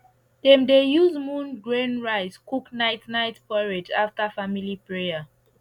dem dey use moon grain rice cook night night porridge after family prayer